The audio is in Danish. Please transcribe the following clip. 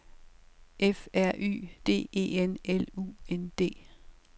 F R Y D E N L U N D